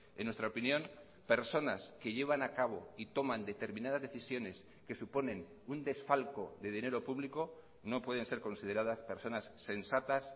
en nuestra opinión personas que llevan a cabo y toman determinadas decisiones que suponen un desfalco de dinero público no pueden ser consideradas personas sensatas